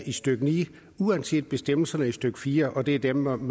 i stykke ni at uanset bestemmelserne i stykke fire og det er dem om